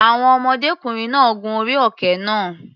Àwọn ọmọdékùnrin náà gun orí òkè náà.